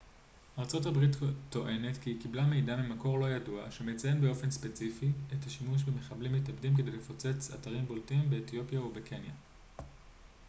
ארה ב טוענת כי היא קיבלה מידע ממקור לא ידוע שמציין באופן ספציפי את השימוש במחבלים מתאבדים כדי לפוצץ אתרים בולטים באתיופיה וקניה